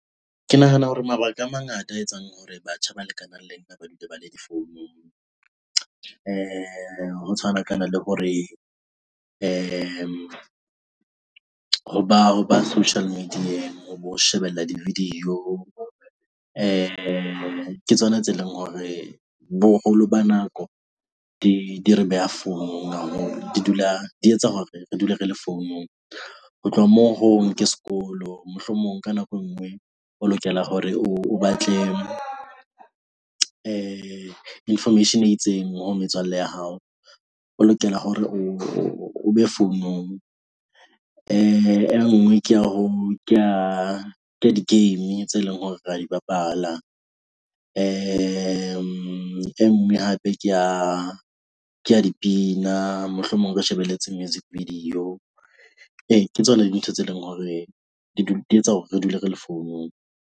Ke nahana hore mabaka a mangata a etsang hore batjha ba lekanang le nna ba dule ba le difounung ho tshwanakana le hore ho ba ho ba social media-ng. O shebella di-video ke tsona tse leng hore boholo ba nako di di re beha founung haholo, di dula di etsa hore re dule re le founung. Ho tloha moo ho hong ke sekolo mohlomong ka nako enngwe o lokela hore o, o batle information e itseng ho metswalle ya hao. O lokela hore o be founong e nngwe ke ya ho ke ya ka di-game tse leng hore re di bapala e nngwe hape ke ya ke ya dipina. Mohlomong o ka shebelletse music video, ee ke tsona dintho tse leng hore di di etsa hore re dule re le founung.